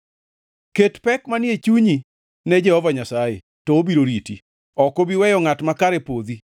Ket pek manie chunyi ne Jehova Nyasaye to obiro riti; ok obi weyo ngʼat makare podhi.